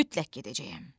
Mütləq gedəcəyəm.